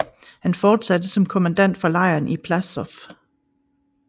Han fortsatte som kommandant for lejren i Płaszów